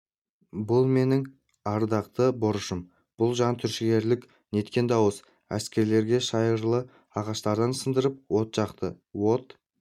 бұл менің ардақты борышым бұл жан түршігерлік неткен дауыс әскерлер шайырлы ағаштарды сындырып от жақты от